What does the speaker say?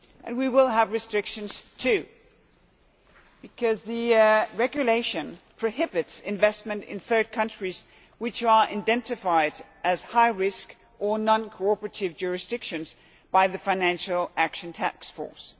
We will have restrictions too because the regulation prohibits investment in third countries which are identified as high-risk or non-cooperative jurisdictions by the financial action task force.